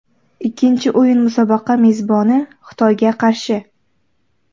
Ikkinchi o‘yin musobaqa mezboni Xitoyga qarshi.